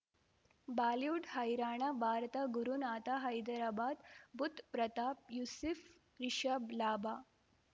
Bollywood ಹೈರಾಣ ಭಾರತ ಗುರುನಾಥ ಹೈದರಾಬಾದ್ ಬುಧ್ ಪ್ರತಾಪ್ ಯೂಸುಫ್ ರಿಷಬ್ ಲಾಭ